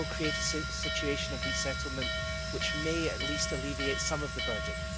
That will create a situation of resettlement which may at least alleviate some of the burden.